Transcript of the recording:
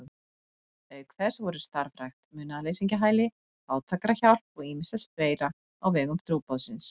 Auk þess voru starfrækt munaðarleysingjahæli, fátækrahjálp og ýmislegt fleira á vegum trúboðsins.